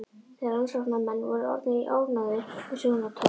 Þegar rannsóknarmenn voru orðnir ánægðir með söguna tók